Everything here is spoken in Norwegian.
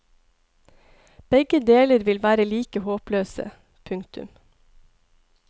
Begge deler vil være like håpløse. punktum